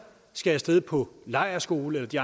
skal af sted på lejrskole eller de